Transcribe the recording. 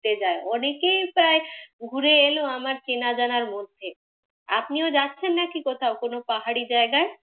ঘুরতে যায়। অনেকেই প্রায় ঘুরে এল আমার চেনা জানার মধ্যে। আপনিও যাচ্ছেন নাকি কোথাও কোন পাহাড়ি জায়গায়?